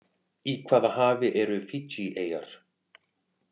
Í hvaða hafi eru Fiji-eyjar?